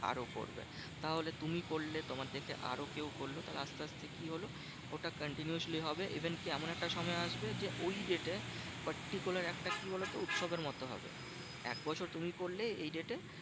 আরো করবে। তাহলে তুমি করলে তোমার দেখে আরো কেউ করলো। তাহলে আসতে আসতে কি হলো? ওটা continuously হবে। even কি? এমন একটা সময় আসবে যে, ওই date এ particularly একটা কি বলতো? উৎসবের মতো হবে। একবছর তুমি করলে এই date এ